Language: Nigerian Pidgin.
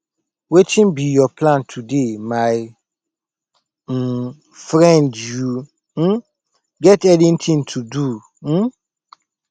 wetin be your plan today my um friend you um get anything to do um